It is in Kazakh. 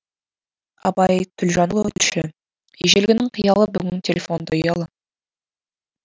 айбар төлжанұлы тілші ежелгінің қиялы бүгін телефонда ұялы